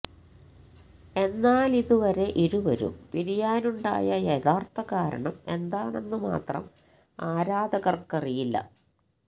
എന്നാലിതുവരെ ഇരുവരും പിരിയാനുണ്ടായ യഥാര്ത്ഥ കാരണം എന്താണെന്ന് മാത്രം ആരാധകര്ക്കറിയില്ല